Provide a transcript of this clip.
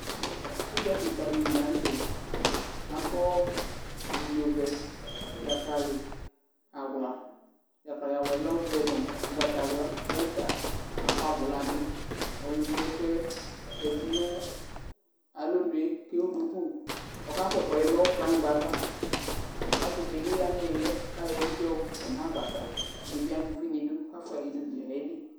Udza keka di li lantɛ akɔ abidzo vɛ dzakali awla dzakali awlaɛ lɛ ɔvɛ no ugbata wla uta akɔ abola bi ɔlo yi ɛkoɛ zati no alɔnue ko ewu duku ko ɔka kɔ ɛkoɛdi no kplayigba ava ɔse di bi ya no iliɛ ko ayɔ evidze ɔkɔ no agbatɛ ɛdi bi ama uvi no idu ko afoa alɛ no udu ko ayeli